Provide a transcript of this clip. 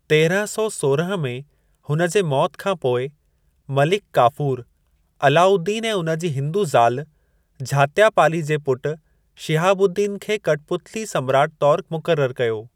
तेरहं सौ सोरहं में हुन जे मौति खां पोइ, मलिक काफूर, अलाउद्दीन ऐं उन जी हिंदू ज़ाल झात्यापाली जे पुट शिहाबुद्दीन खे कठपुतली सम्राट तौर मुक़रर कयो।